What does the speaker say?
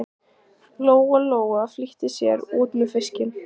Lóa Lóa flýtti sér út með fiskinn.